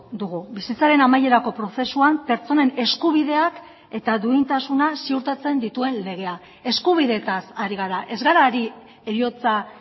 dugu bizitzaren amaierako prozesuan pertsonen eskubideak eta duintasuna ziurtatzen dituen legea eskubideetaz ari gara ez gara ari heriotza